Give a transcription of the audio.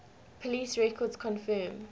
police records confirm